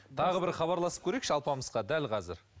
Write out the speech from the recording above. тағы бір хабарласып көрейікші алпамысқа дәл қазір